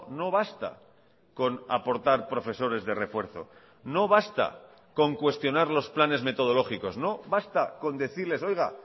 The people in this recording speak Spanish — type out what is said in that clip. no basta con aportar profesores de refuerzo no basta con cuestionar los planes metodológicos no basta con decirles oiga